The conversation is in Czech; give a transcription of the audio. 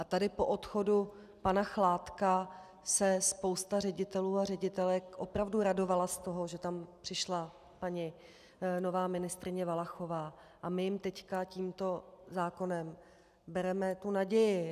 A tady po odchodu pana Chládka se spousta ředitelů a ředitelek opravdu radovala z toho, že tam přišla nová paní ministryně Valachová, a my jim teď tímto zákonem bereme tu naději.